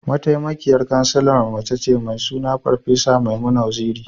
Mataimakiyar Kansilarmu mace ce, mai suna Farfesa Maimuna Waziri.